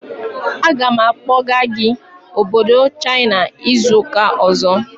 Aga m akpọga gị obodo China izu ụka ọzọ!